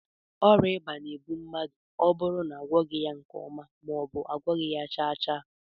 Oria iba na- egbu mmadu oburu na agwoghi ya nke oma, maobu na agwoghi ya chaa chaa